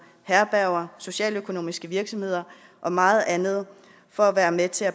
herberger socialøkonomiske virksomheder og meget andet for at være med til at